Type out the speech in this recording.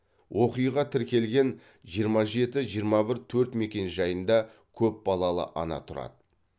оқиға тіркелген жиырма жеті жиырма бір төрт мекенжайында көп балалы ана тұрады